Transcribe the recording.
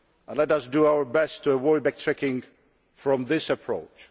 Let us do our best to avoid backtracking from this approach.